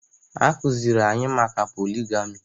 A kụziri anyị maka poligami